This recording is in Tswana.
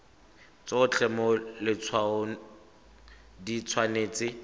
tsotlhe mo letshwaong di tshwanetse